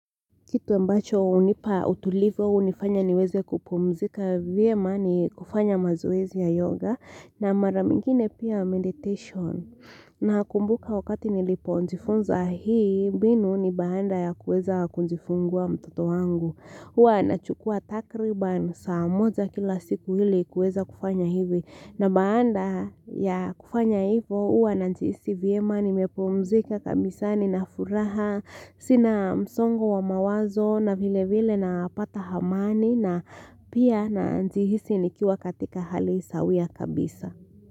Kitu ambacho hunipa utulivo au hunifanya niweze kupumzika vyema ni kufanya mazoezi ya yoga na maranyingine pia meditation. Na kumbuka wakati nilipo jifunza hii mbinu ni baada ya kuweza kujifungua mtoto wangu. Huwa nachukua takriban saa moja kila siku ili kuweza kufanya hivi. Na baada ya kufanya hivo huwa na jihisi vyema nimepumzika kabisa ni na furaha, sina msongo wa mawazo na vile vile na pata amani na pia na jihisi ni kiwa katika hali sawia kabisa.